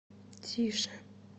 тише